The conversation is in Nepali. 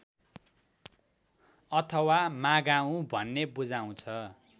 अथवा मागाउँ भन्ने बुझाउँछ